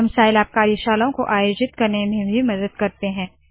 हम साइलैब कार्यशालाओं को आयोजित करने में भी मदद करते है